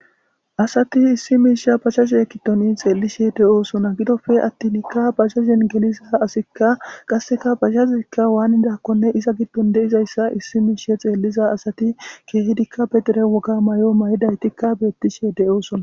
Asati issi misha bajaje gidon xelishe de'osona gidope atinka bajajen geliza asika qaseka bajaje wanidakonne iza gidon de'izaysa issi misha xeliza asati kehidika be dere woga mayo ma'idaytikka betishe de'osona.